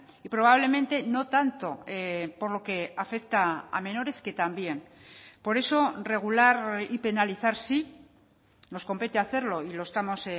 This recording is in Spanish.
y probablemente no tanto por lo que afecta a menores que también por eso regular y penalizar sí nos compete hacerlo y lo estamos